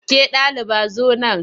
Ke ɗaliba zo nan!